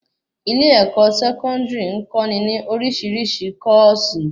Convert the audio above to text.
ilé-ẹ̀kọ́ Sẹkọndiri n kọ́ ni ni orisirisi kòsí